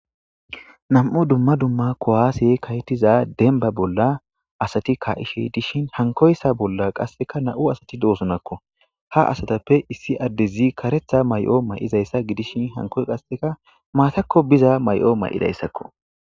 Nam'u dumma dumma kuwaseyi ka'etiza demba bolla asati ka'ishe dishin hankoysa bolla qaseka nam'u asati dosonako, ha asatappe issi adezi karetha mayo mayidaysa gidishn hankoysi qaseka matako biza mayo mayidaysako.